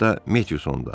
Hətta Metiusonda.